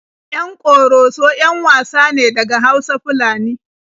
Yan Ƙoroso 'yan wasa ne daga Hausa-Fulani.